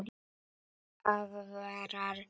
Aðvarar hana.